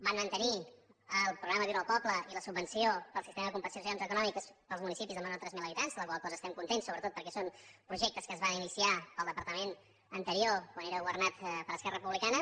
van mantenir el programa viure al poble i la subvenció pel sistema de compensacions econòmiques per als municipis de menys de tres mil habitants de la qual cosa estem contents sobretot perquè són projectes que es van iniciar en el departament anterior quan era governat per esquerra republicana